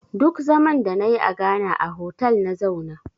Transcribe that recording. Duk zaman da na yi a Ghana a hotal na zauna